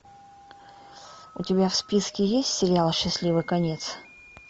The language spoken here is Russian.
у тебя в списке есть сериал счастливый конец